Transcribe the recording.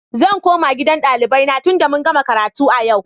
Zan koma gidan ɗalibai na tunda mun gama karatu a yau.